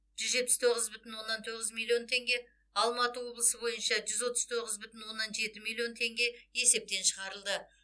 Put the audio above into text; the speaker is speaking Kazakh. жүз жетпіс тоғыз бүтін оннан тоғыз миллион теңге алматы облысы бойынша жүз отыз тоғыз бүтін оннан жеті миллион теңге есептен шығарылды